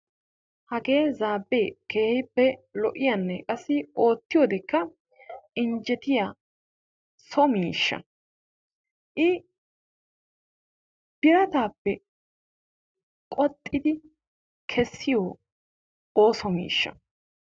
Hagee zaabee keehippe lo"iyanne qassi oottiyodekka injjettiya so miishsha. I birataappe qoxxidi kessiyo ooso miishsha.